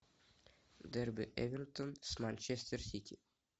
дерби эвертон с манчестер сити